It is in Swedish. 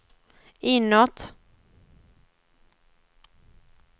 inåt